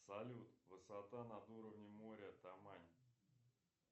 салют высота над уровнем моря тамань